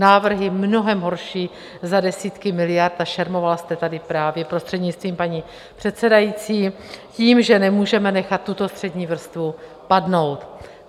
Návrhy mnohem horší, za desítky miliard, a šermoval jste tady právě, prostřednictvím paní předsedající, tím, že nemůžeme nechat tuto střední vrstvu padnout.